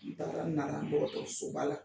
N taara nara dɔgɔtɔrɔso ba la.